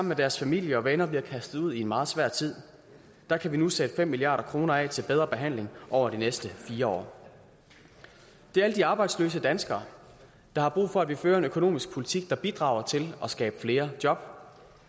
med deres familie og venner bliver kastet ud i en meget svær tid der kan vi nu sætte fem milliard kroner af til bedre behandling over de næste fire år det er alle de arbejdsløse danskere der har brug for at vi fører en økonomisk politik der bidrager til at skabe flere job